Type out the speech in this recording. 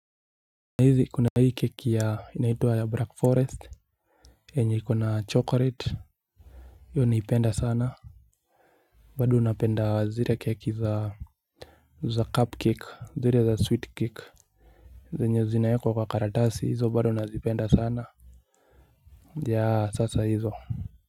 Na hizi kuna hii keki ya inaitwa ya black forest yenye iko na chocolate hiyo naipenda sana. Bado napenda zile keki za cupcake zile za sweet cake. Zenye zinaekwa kwa karatasi hizo bado nazipenda sana. Ya sasa hizo.